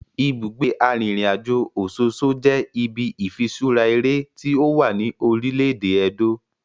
Ibugbe arinrinajo Ososo je ibi ifiṣura ere ti owa ni orile-ede Edo.